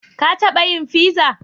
Ka taba yin fiza?